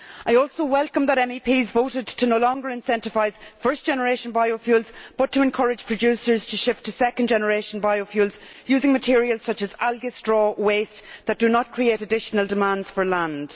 I also welcome that MEPs voted to no longer incentivise first generation biofuels but to encourage producers to shift to second generation biofuels, using materials such as algae, straw and waste that do not create additional demands for land.